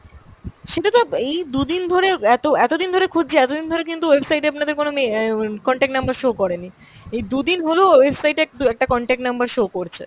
সেটা তো এই দু'দিন ধরে এতো এতো দিন ধরে খুঁজছি, এতদিন ধরে কিন্তু website এ আপনাদের কোনো আমি অ্যাঁ contact number show করেনি। এই দু'দিন হল website এ দু-একটা contact number show করছে।